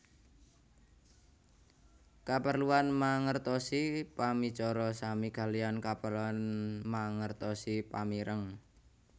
Kaperluan mangertosi pamicara sami kaliyan kaperluan mangertosi pamireng